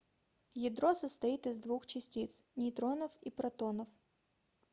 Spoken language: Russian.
ядро состоит из двух частиц нейтронов и протонов